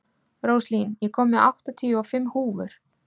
Róslín, ég kom með áttatíu og fimm húfur!